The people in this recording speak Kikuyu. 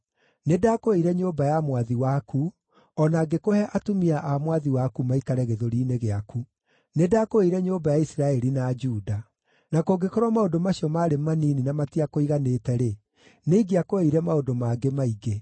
Nĩndakũheire nyũmba ya mwathi waku, o na ngĩkũhe atumia a mwathi waku maikare gĩthũri-inĩ gĩaku. Nĩndakũheire nyũmba ya Isiraeli na Juda. Na kũngĩkorwo maũndũ macio maarĩ manini na matiakũiganĩte-rĩ, nĩingĩakũheire maũndũ mangĩ maingĩ.